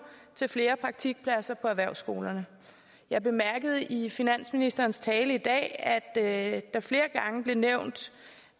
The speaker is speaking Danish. til flere praktikpladser på erhvervsskolerne jeg bemærkede i finansministerens tale i dag at der flere gange blev nævnt